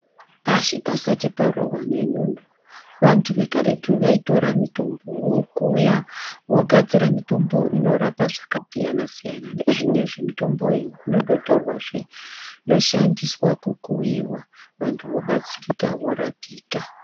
Pashi pasati parohwa nenyundo vantu vekaretu vaitora mitombo vokuya vogadzira mitombo inorapa zvakasiyana siyana. Nezvinezvi mitombo iyi inototorwazve yoshandiswa kukuiwa vanhu vobatsirika vorapika.